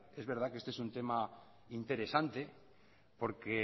es verdad que este es un tema interesante porque